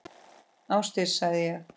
Ásdís, sagði ég.